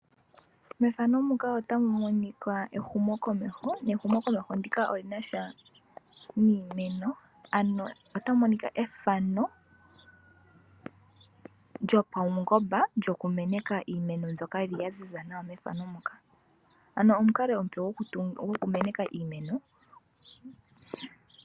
Efano otali ulike ehumo komeho. Nehumo komeho ndika oli nasha niimeno. Ano ota mu monika efano lyo pawungomba lyoku meneka iimeno mbyoka yili ya ziza nawa mefano muka. Ano omukalo omupe gwoku meneka iimeno.